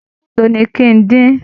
Ẹran mélòó ni kí ń dín?